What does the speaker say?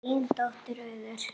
Þín dóttir, Auður.